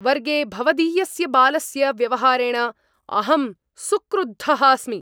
वर्गे भवदीयस्य बालस्य व्यवहारेण अहं सुक्रुद्धः अस्मि!